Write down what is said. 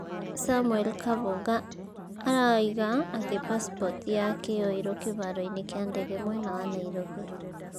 Samuel kahũga araiga atĩ pasipoti yake yoirũo kĩharo-inĩ kĩa ndege mwena wa nairobi